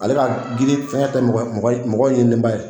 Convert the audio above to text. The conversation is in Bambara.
Ale ka girin fɛngɛ tɛ mɔgɔ ye mɔgɔ mɔgɔ yenenba ye